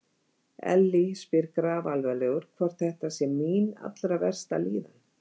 Elli spyr grafalvarlegur, hvort þetta sé mín allra versta líðan?